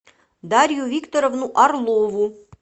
дарью викторовну орлову